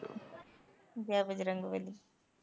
Jai Bajrangbali